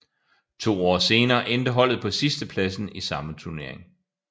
To år senere endte holdet på sidstepladsen i samme turnering